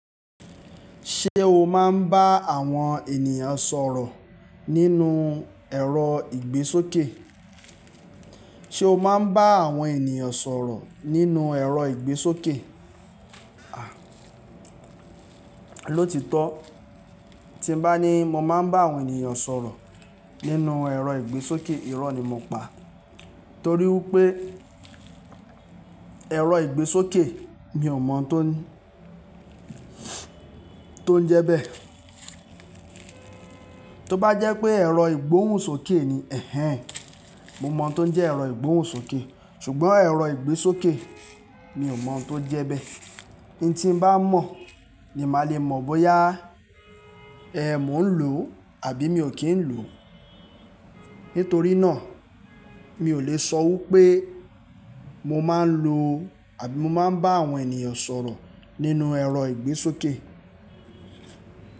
Ṣé o máa ń bá àwọn ènìyàn sọ̀rọ̀ nínú ẹ̀rọ ìgbésókè? O máa ń bá àwọn ènìyàn sọ̀rọ̀ nínú ẹ̀rọ ìgbésókè? Ah, lótítọ́ tí n bá ní mo máa ń bá àwọn ènìyàn sọ̀rọ̀ nínú ẹ̀rọ ìgbésókè, irọ́ ni mo pa torí wípé ẹ̀rọ ìgbésókè mi ò mọ̀ tó n, tó ń jẹ́ bẹ́ẹ̀. Tóbá jẹ́ pé ẹ̀rọ ìgbóhùnsókè ni, ẹhẹn, mo mọ̀ tó ń jẹ́ ẹ̀rọ ìgbóhùnsókè ṣùgbọ́n ẹ̀rọ ìgbésókè mi ò mọ̀ tó n jẹ́ bẹ́ẹ̀. N tí n bá mọ̀ ni màá le mọ̀ bóyá, ẹh, mò ń lò àbí mi ò kí ń lò. Nítorí náà mi ò lè sọ wípé mo máa ń lò àbí mo máa ń bá àwọn ènìyàn sọ̀rọ̀ nínú ẹ̀rọ ìgbésókè.